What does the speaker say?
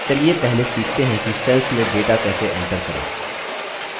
चलिए पहले सीखते हैं कि cells में data कैसे enter करें